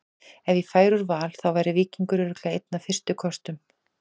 Ef ég færi úr Val þá væri Víkingur örugglega einn af fyrstu kostum.